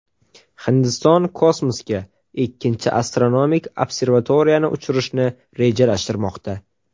Hindiston kosmosga ikkinchi astronomik observatoriyani uchirishni rejalashtirmoqda.